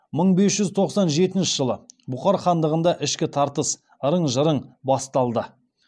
мың бес жүз тоқсан жетінші жылы бұхар хандығында ішкі тартыс ырың жырың басталды